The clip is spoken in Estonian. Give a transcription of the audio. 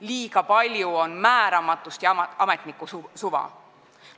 Liiga palju on määramatust ja ametniku suva.